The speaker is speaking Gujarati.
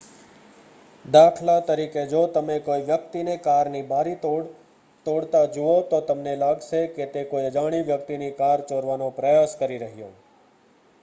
દાખલા તરીકે જો તમે કોઈવ્યક્તિને કારની બારીતોડ તોડતા જુઓ તો તમને લાગશે કે તે કોઈ અજાણી વ્યક્તિની કાર ચોરવાનો પ્રયાસ કરી રહ્યો